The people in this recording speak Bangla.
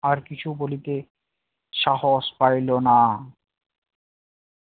আর কিছু বলিতে সাহস পাইল না